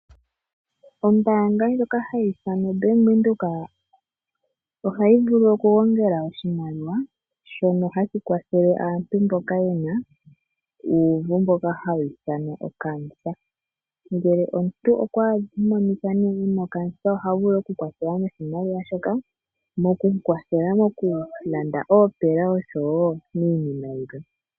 Ombaanga ndjoka hayi ithanwa Bank Windhoek ohayi vulu oku gongela oshimaliwa shono hashi kwatha aantu mboka yena uuvu mboka hawu ithanwa oCancer. Ngele omuntu okwa monika nee e na oCancer oha vulu oku kwathelwa noshimaliwa shoka, mokumu kwathela moku landa oopela oshowo miinima yilwe.